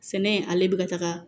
Sɛnɛ ale bɛ ka taga